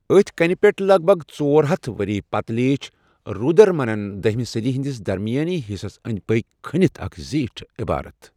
أتھۍ کَنہِ پٮ۪ٹھ، لگ بگ ژور ہتھ ؤری پتہٕ لیٖچھ رُدرَدمنَن دٔہہِمہِ صٔدی ہِنٛدِس درمِیٲنی حِصس أنٛدۍ پٔکۍ، كھٔنِتھ اَکھ زیٖٹھ عٮ۪بارت ۔